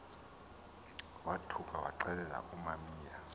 wothuka waxelela umamiya